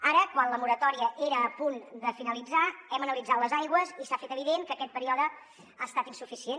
ara quan la moratòria era a punt de finalitzar hem analitzat les aigües i s’ha fet evident que aquest període ha estat insuficient